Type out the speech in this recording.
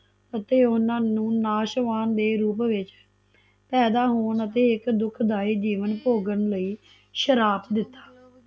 ਅਤੇ ਓਹਨਾ ਨੂ ਨਾਸ਼ਵਾਨ ਦੇ ਰੂਪ ਵਿੱਚ ਪੈਦਾ ਹੋਣ ਅਤੇ ਦੁਖਦਾਈ ਜੀਵਨ ਭੋਗਣ ਲਈ ਸ਼ਰਾਪ ਦਿੱਤਾ